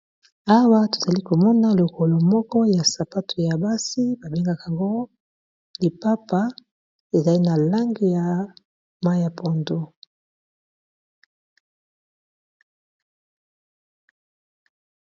awa tozali komona lokolo moko ya sapato ya basi babengaka ngo lipapa ezali na lange ya mayi ya pondu .